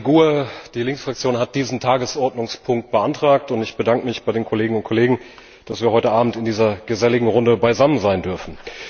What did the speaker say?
Die GUE NGL, die Linksfraktion, hat diesen Tagesordnungspunkt beantragt, und ich bedanke mich bei den Kolleginnen und Kollegen, dass wir heute Abend in dieser geselligen Runde beisammen sein dürfen.